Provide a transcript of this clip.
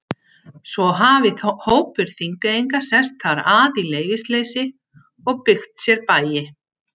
Svo hafi hópur Þingeyinga sest þar að í leyfisleysi og byggt sér bæi.